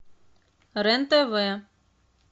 рен тв